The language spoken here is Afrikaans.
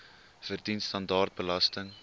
verdien standaard belasting